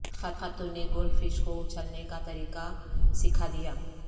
خاتون نے goldfish کو اچھلنے کا طریقہ سکھا دیا